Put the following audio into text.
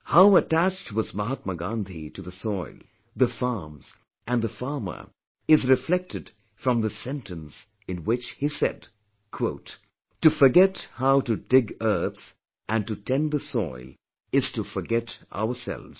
How attached was Mahatma Gandhi attached to the soil, they farms and the farmer is reflected from this sentence in which he said "To forget how to dig earth and to tend the soil, is to forget ourselves